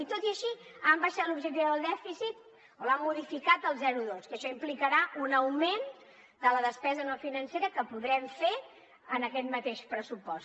i tot i així han abaixat l’objectiu del dèficit o l’han modificat al zero coma dos que això implicarà un augment de la despesa no financera que podrem fer en aquest mateix pressupost